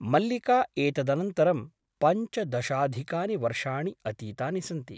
मल्लिका एतदनन्तरं पञ्चदशाधिकानि वर्षाणि अतीतानि सन्ति ।